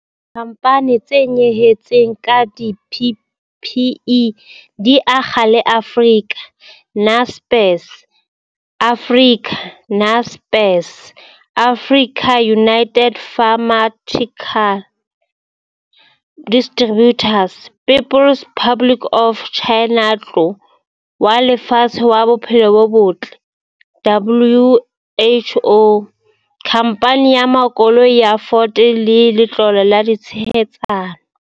Dikhamphane tse nyehetseng ka di-PPE di akga le Africa, Naspers, Africa, Naspers, AfricaUnited Pharmaceutical Distributors, People's Republic of Chinatlo wa Lefatshe wa Bophelo bo Botle, WHO, Khamphane ya Makoloi ya Ford le Letlole la Tshehetsano.